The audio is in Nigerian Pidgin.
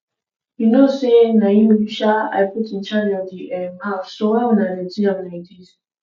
you no say na you um i put in charge of the um house so why una dirty am like dis